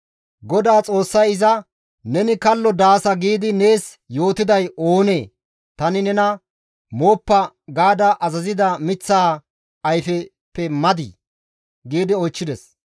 GODAA Xoossay iza, «Neni kallo daasa giidi nees yootiday oonee? Tani nena, ‹Mooppa› gaada azazida miththaa ayfeppe madii?» gi oychchides.